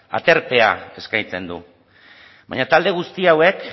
aterpea eskaintzen du baina talde guzti hauek